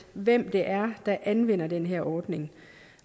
hvem det er der anvender den her ordning